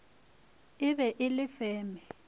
e be e le feme